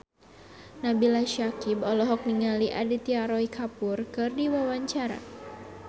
Nabila Syakieb olohok ningali Aditya Roy Kapoor keur diwawancara